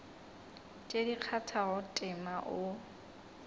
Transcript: tše di kgathago tema o